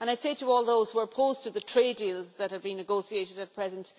I say to all those who are opposed to the trade deals that have been negotiated at present